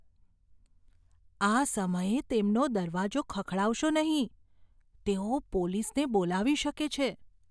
આ સમયે તેમનો દરવાજો ખખડાવશો નહીં. તેઓ પોલીસને બોલાવી શકે છે.